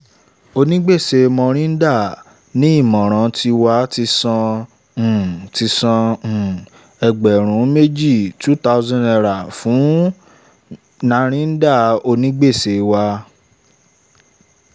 onigbèsè mohinder ní ìmọ̀ràn tiwa ti san um ti san um ẹgbẹ̀rún méjì( two thousand ) fún um narinder onígbèsè wa